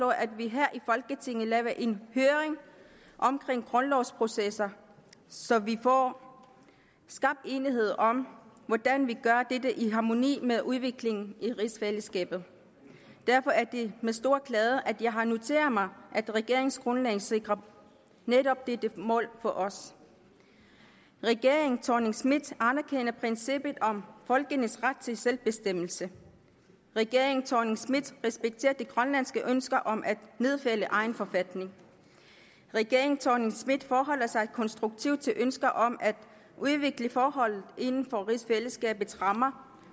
at vi her i folketinget laver en høring om grundlovsprocesser så vi får skabt enighed om hvordan vi gør dette i harmoni med udviklingen i rigsfællesskabet derfor er det med stor glæde at jeg har noteret mig at regeringsgrundlaget sikrer netop dette mål for os regeringen thorning schmidt anerkender princippet om folkenes ret til selvbestemmelse regeringen thorning schmidt respekterer de grønlandske ønsker om at nedfælde egen forfatning regeringen thorning schmidt forholder sig konstruktivt til ønsker om at udvikle forholdet inden for rigsfællesskabets rammer